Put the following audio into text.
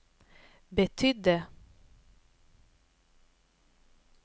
betydde